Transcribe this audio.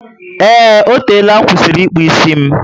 Eee, O tela nkwusiri ịkpụ isi m